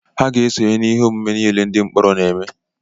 Ha ga-esonye n'ihe omume niile ndị mkpọrọ na-eme.